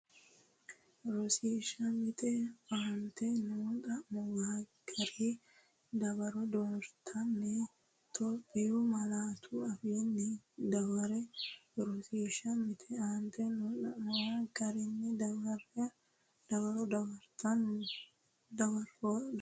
Rosiishsha Mite Aaante noo xa’muwara gari dawaro dooratenni Itophiyu malaatu afiinni dawarre Rosiishsha Mite Aaante noo xa’muwara gari dawaro dooratenni.